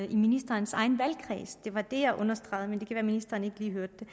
i ministerens egen valgkreds det var det jeg understregede men det kan være at ministeren ikke lige hørte det